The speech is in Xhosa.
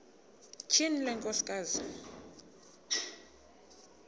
tyhini le nkosikazi